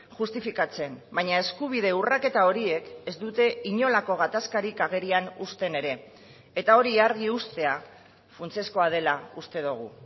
justifikatzen baina eskubide urraketa horiek ez dute inolako gatazkarik agerian uzten ere eta hori argi uztea funtsezkoa dela uste dugu